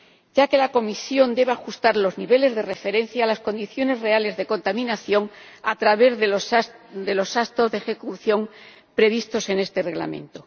ya que la Comisión debe ajustar los niveles de referencia a las condiciones reales de contaminación a través de los gastos de ejecución previstos en esta propuesta de Reglamento.